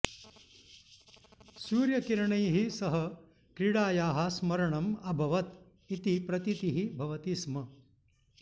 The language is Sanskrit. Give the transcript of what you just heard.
सूर्यकिरणैः सह क्रीडायाः स्मरणम् अभवत् इति प्रतीतिः भवति स्म